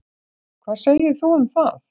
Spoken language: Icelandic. Hvað segir þú um það?